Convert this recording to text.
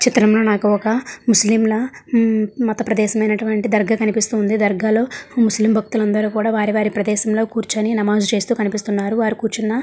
ఈ చిత్రం లో నాకు ఒక ముస్లిం ల హమ్ మత ప్రదేశమైనటువంటి దర్గా కనిపిస్తుంది దర్గా లో ముస్లిం భక్తులందరూ కూడా వారి-వారి ప్రదేశం లో కూర్చొని నమాజ్ చేస్తూ కనిపిస్తున్నారు వారు కూర్చున్న--